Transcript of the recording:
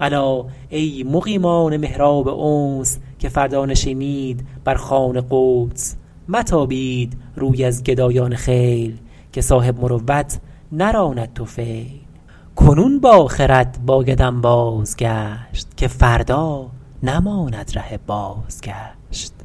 الا ای مقیمان محراب انس که فردا نشینید بر خوان قدس متابید روی از گدایان خیل که صاحب مروت نراند طفیل کنون با خرد باید انباز گشت که فردا نماند ره بازگشت